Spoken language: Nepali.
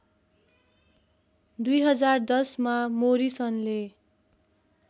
२०१० मा मोरिसनले